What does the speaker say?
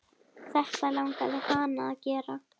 Þetta langaði hana að gera.